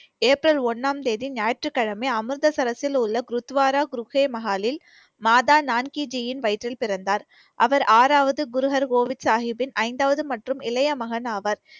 April ஒண்ணாம் தேதி ஞாயிற்றுக்கிழமை அமிர்தசரஸில் உள்ள குருத்வாரா குருபே மஹாலில் மாதா நான்கேஜியின் வயிற்றில் பிறந்தார். அவர் ஆறாவது குருகர் கோவிந்த் சாகிப்பின் ஐந்தாவது மற்றும் இளைய மகன் ஆவார்.